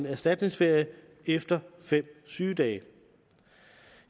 erstatningsferie efter fem sygedage